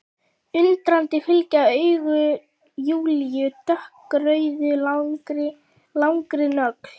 Undrandi fylgja augu Júlíu dökkrauðri langri nögl.